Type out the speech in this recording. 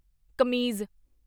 ਕਮੀਜ਼